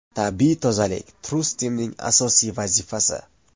Tabiiy tozalik – TrueSteam’ning asosiy vazifasi.